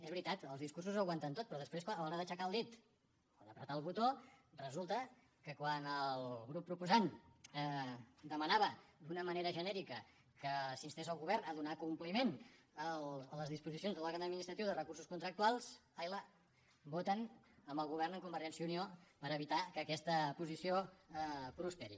és veritat els discursos ho aguanten tot però després a l’hora d’aixecar el dit o de prémer el botó resulta que quan el grup proposant demanava d’una manera genèrica que s’instés el govern a donar compliment a les disposicions de l’òrgan administratiu de recursos contractuals ai las voten amb el govern de convergència i unió per evitar que aquesta posició prosperi